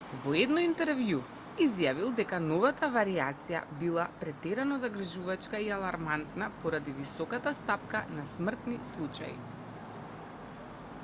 во едно интервју изјавил дека новата варијација била претерано загрижувачка и алармантна поради високата стапка на смртни случаи